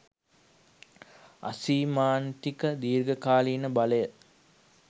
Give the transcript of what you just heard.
අසීමාන්තික. දීර්ඝ කාලීන බලය